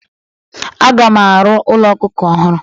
Aga m arụ ụlọ ọkụkọ ọhụrụ.